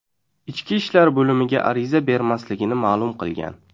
ichki ishlar bo‘limiga ariza bermasligini ma’lum qilgan.